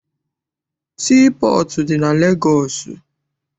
Sii pọọtụ dị na Legọọsị.